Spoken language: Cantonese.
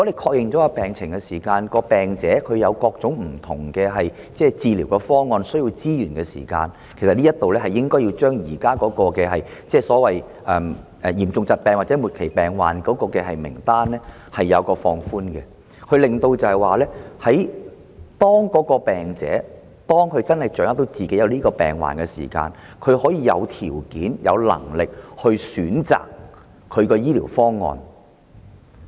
確認病情後，如果病人有各種不同的治療方案，需要資源——這方面，我認為應該將現時嚴重疾病/末期病症的名單放寬——當病人掌握到自己的病況時，若他能動用強積金權益，便會有條件、有能力選擇自己的治療方案。